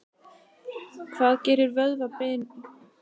Hvað gerir vöðva, bein og sinar að manni?